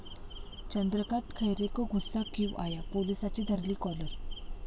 चंद्रकांत खैरे को गुस्सा क्यू आया',पोलिसाची धरली काॅलर